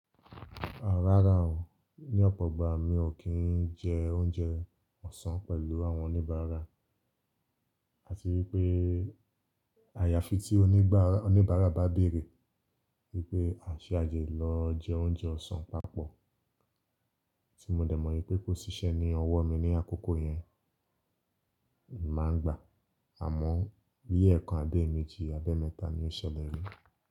Rárá o, ní ọ̀pọ̀ ìgbà mi ò kí ń jẹ oúnjẹ ọ̀sán pẹ̀lú àwọn oníbàárà. Àti wípé àyàfi tí oníbàárà bá bèrè wípé a ṣé àjè lọ jẹ oúnjẹ ọ̀sán papọ̀. Tí mo dẹ̀ mọ̀ pé kò ṣiṣẹ́ ní ọwọ́ mi ní àkókò yẹn, máa ń gbà á. Àmọ́ bí ẹ̀kan abi ẹ̀méjì, abi emẹ́ta ni ó ṣẹlẹ̀ rí.